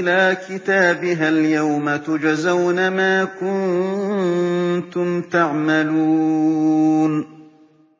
إِلَىٰ كِتَابِهَا الْيَوْمَ تُجْزَوْنَ مَا كُنتُمْ تَعْمَلُونَ